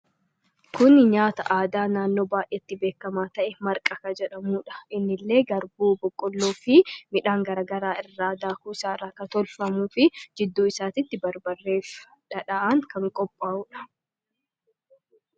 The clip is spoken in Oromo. Kuni nyaataa aadaa naannoo baay'eetti beekama ta'e 'Marqaa' kan jedhamuudha. Inni illee Garbuu, Boqolloofi midhaan gara garaa irra dakuu isaa irra kan tolfamuufi jiduu isatti Barbareefi Dhadhaan kan qopha'uudha.